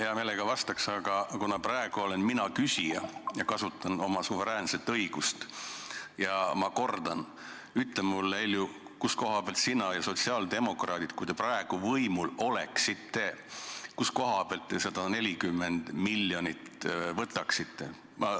Hea meelega vastaks, aga kuna praegu olen mina küsija ja kasutan oma suveräänset õigust, siis ma kordan, et ütle mulle, Heljo, kust kohast sina ja sotsiaaldemokraadid, kui te praegu võimul oleksite, selle 140 miljonit võtaksite?